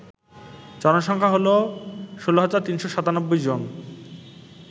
জনসংখ্যা হল ১৬৩৯৭ জন